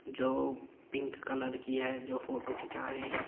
जो pink colour की है जो फोटो खींचा रहे हैं।